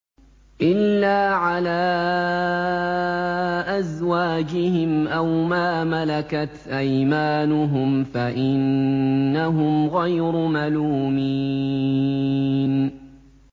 إِلَّا عَلَىٰ أَزْوَاجِهِمْ أَوْ مَا مَلَكَتْ أَيْمَانُهُمْ فَإِنَّهُمْ غَيْرُ مَلُومِينَ